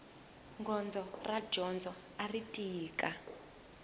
gondzo ra dyondzo ari tika